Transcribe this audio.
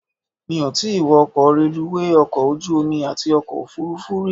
Mi ò tí wọ ọkọ̀ reluwé, ọkọ̀ ojú omi àti ọkọ̀ òfuurufú rí.